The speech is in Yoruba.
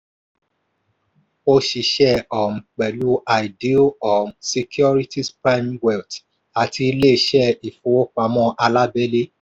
ó ṣiṣẹ́ um pẹ̀lú ideal um securities primewealth àti ilé-iṣẹ́ ifowopamọ alabẹle.